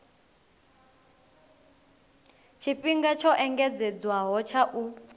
tshifhinga tsho engedzedzwaho tsha u